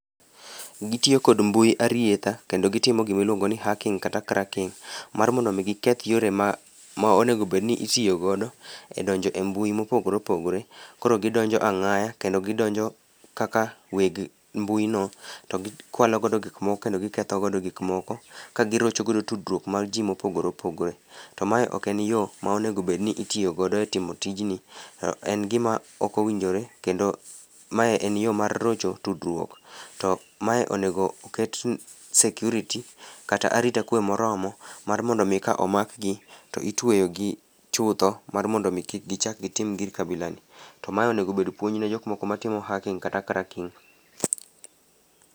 Gitiyo kod mbui arietha kendo gitimo gimiluongo ni hacking kata cracking mar mondo omi giketh yore monego obedni itiyo godo e donjo e mbui mopogore opogore. Koro gindonjo ang'aya, kendo gidonjo kaka weg mbuino, to gikwalo godo gikmoko, kendo giketho godo gikmoko ka girocho godo tudruok mar ji mopogore opogore. To mae ok en yo ma onego obedni itiyo godo e timo tijni. En gima ok owinjore kendo mae en yo mar rocho tudruok. To mae onego oket security kata arita kwe moromo mar mondo omi ka omakgi, to itweyogi chutho, mar mondo omi kik gichak gitim gir kabilani. To ma onego obed puonj ne jok moko matimo hacking kata cracking.